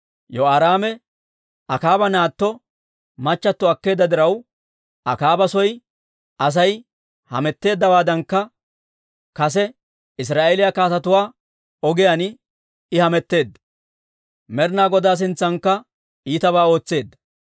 Yehoraame Akaaba naatto machchattio akkeedda diraw, Akaaba soy Asay hametteeddawaadankka kase Israa'eeliyaa kaatetuwaa ogiyaan I hametteedda; Med'ina Godaa sintsankka iitabaa ootseedda.